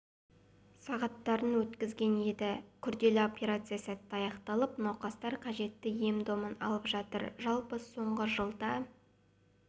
сағаттарын өткізген еді күрделі операция сәтті аяқталып науқастар қажетті ем-домын алып жатыр жалпы соңғы жылда